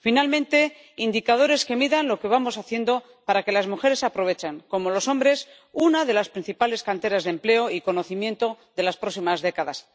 Finalmente, indicadores que midan lo que vamos haciendo para que las mujeres aprovechen, como los hombres, una de las principales canteras de empleo y conocimiento de las próximas décadas.